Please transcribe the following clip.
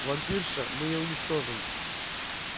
вампирша мы её уничтожим